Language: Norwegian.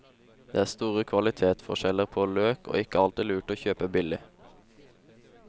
Det er store kvalitetsforskjeller på løk og ikke alltid lurt å kjøpe billig.